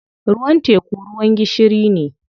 Ruwan teku ruwan gishiri ne.